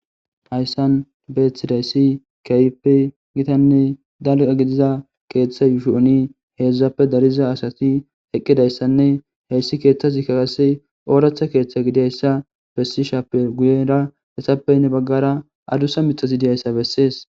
Hayssan beethidayssi kayppe gitanne dalqa gidiza keeththa yuushu'oni heedzdzappe dariza asati eqqidayssanne heyssi keeththasi kakase ooractha keeththa gidiyayssa bessishappe guyera hesappeynne baggara adusa mixasidiyayssa bessees